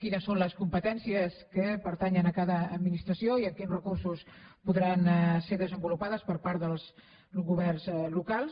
quines són les competències que pertanyen a cada administració i amb quins recursos podran ser desenvolupades per part dels governs locals